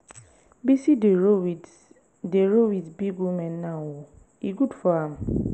bisi dey roll with dey roll with big women now oo e good for am.